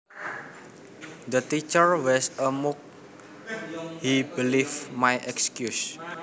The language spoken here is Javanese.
The teacher was a mug he believed my excuse